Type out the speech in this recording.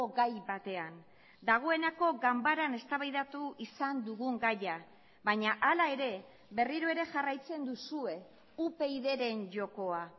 gai batean dagoeneko ganbaran eztabaidatu izan dugun gaia baina ala ere berriro ere jarraitzen duzue upydren jokoa